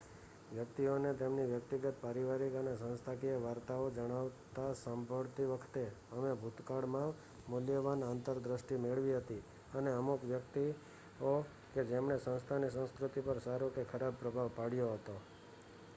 વ્યક્તિઓને તેમની વ્યક્તિગત પરિવારિક અને સંસ્થાકીય વાર્તાઓ જણાવતા સાંભળતી વખતે અમે ભૂતકાળમાં મૂલ્યવાન આંતર દ્રષ્ટિ મેળવી હતી અને અમુક વ્યક્તિત્વો કે જેમણે સંસ્થાની સંસ્કૃતિ પર સારો કે ખરાબ પ્રભાવ પાડ્યો હતો